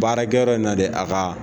Baarakɛyɔrɔ in na dɛ a ka